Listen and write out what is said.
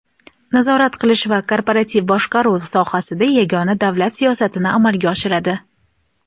nazorat qilish va korporativ boshqaruv sohasida yagona davlat siyosatini amalga oshiradi.